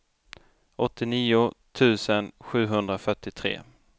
åttionio tusen sjuhundrafyrtiotre